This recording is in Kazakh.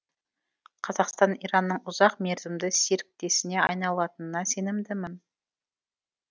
қазақстан иранның ұзақ мерзімді серіктесіне айналатынына сенімдімін